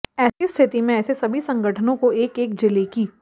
ऐसी स्थिति में ऐसे सभी संगठनों को एक एक जिले की